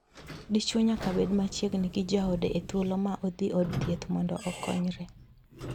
Dichwo nyaka bed machiegni gi jaode e thuolo ma odhi od thieth mondo okonyre.